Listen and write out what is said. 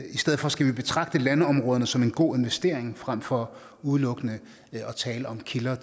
i stedet for skal vi betragte landområderne som en god investering frem for udelukkende at tale om kilder